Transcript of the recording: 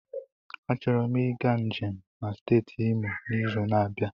Achọrọ m ịga njem na steeti Imo n'izu na-abịa.